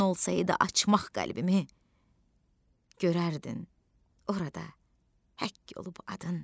Mümkün olsaydı açmaq qəlbimi, görərdin orada həkk olub adın.